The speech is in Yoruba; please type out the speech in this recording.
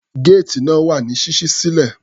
Géètì náà wà ní ṣíṣí sílẹ̀.